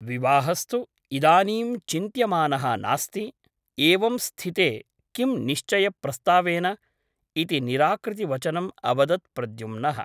विवाहस्तु इदानीं चिन्त्यमानः नास्ति । एवं स्थिते किं निश्चयप्रस्तावेन ?' इति निराकृतिवचनम् अवदत् प्रद्युम्नः ।